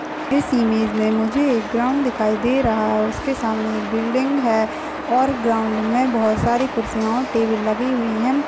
इस इमेज मुझे एक ग्राउंड दिखाई दे रहा है और उसके सामने एक बिल्डिंग है और ग्राउंड में बोहोत सारी कुर्सियां और टेबुल लगी हुई हैं।